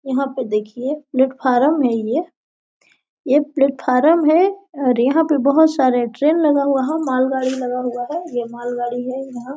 यहाँ पर देखिये प्लेट फारम है ये ये प्लेट फारम है और यहाँ पे बहुत सारे ट्रैन लगा हुआ है माल गाड़ी लगा हुआ है ये माल गाड़ी है यहाँ --